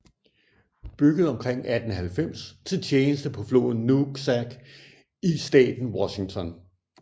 Bygget omkring 1890 til tjeneste på floden Nooksack i staten Washington